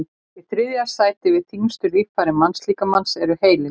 í þriðja sæti yfir þyngstu líffæri mannslíkamans er heilinn